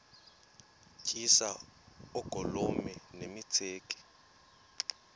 tyiswa oogolomi nemitseke